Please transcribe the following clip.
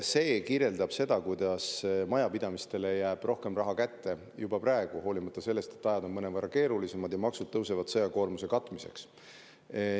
See kirjeldab seda, kuidas majapidamistele jääb rohkem raha kätte juba praegu, hoolimata sellest, et ajad on mõnevõrra keerulisemad ja maksud tõusevad sõjakoormuse katmiseks.